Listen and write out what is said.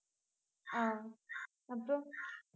ஆஹ் அப்புறம்,